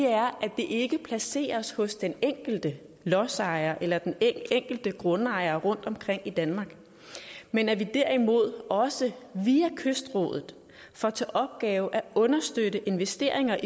ikke placeres hos den enkelte lodsejer eller den enkelte grundejer rundtomkring i danmark men at vi derimod også via kystrådet får til opgave at understøtte investeringer